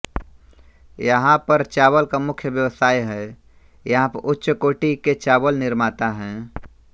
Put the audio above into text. यहा पर चावल का मुख्य व्यवसाय है यहा पर उच्चकोटी के चावल निर्माता है